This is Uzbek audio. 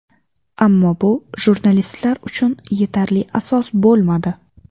Ammo bu jurnalistlar uchun yetarli asos bo‘lmadi.